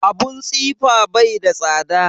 Abun tsifa bai da tsada